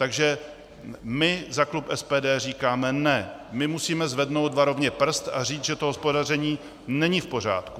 Takže my za klub SPD říkáme ne, my musíme zvednout varovně prst a říct, že to hospodaření není v pořádku.